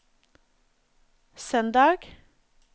søndag